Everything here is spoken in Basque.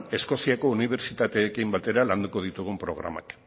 eskoziako unibertsitateekin batera landuko ditugun programak